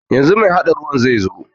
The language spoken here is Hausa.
Yanzu mai haɗa ruwan zaizo.